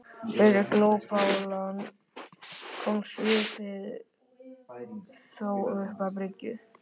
Fyrir glópalán komst skipið þó upp að bryggju.